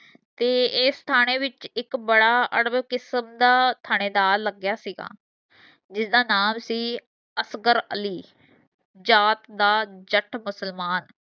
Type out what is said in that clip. ਤੇ ਏਸ ਥਾਣੇ ਵਿੱਚ ਇਕ ਬੜਾ ਅੜਬ ਕਿਸਮ ਦਾ ਥਾਣੇਦਾਰ ਲਗਿਆ ਸੀਗਾ ਜੀਦਾ ਨਾਮ ਸੀ ਅਫਗਰ ਅਲੀ। ਜਾਤ ਦਾ ਜੱਟ ਮੁਸਲਮਾਨ